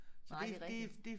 Nej det rigtigt